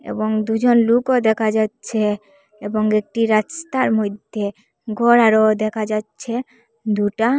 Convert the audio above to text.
এবং দুজন লোকও দেখা যাচ্ছে এবং একটি রাস্তার মধ্যে ঘর আরও দেখা যাচ্ছে দুটা।